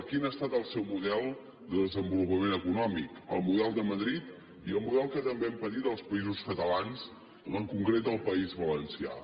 quin ha estat el seu model de desenvolupament econòmic el model de madrid i el model que també han patit els països catalans en concret el país valencià